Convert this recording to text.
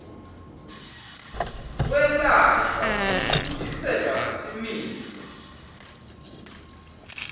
kwelashwa nekubuyisela similo